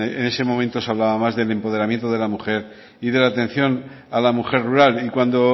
en ese momento se hablaba más del empoderamiento de la mujer y de la atención a la mujer rural y cuando